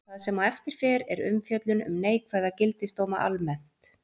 Það sem á eftir fer er umfjöllun um neikvæða gildisdóma almennt.